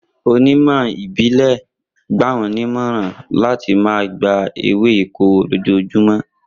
Onímọ̀ ìbílẹ̀ gbà wọ́n nímọ̀ràn láti máa gba ewé ìkorò lójoojúmọ́.